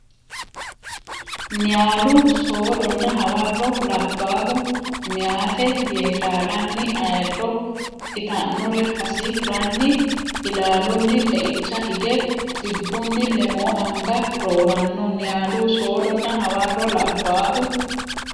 Niyaalu soodonna hawarro labbaahu meyaate Yeedaalanni ayirro itannore hasi ranni ilaalunni xeicha hige xibbunni lemoo anga rooranno Niyaalu soodonna hawarro labbaahu.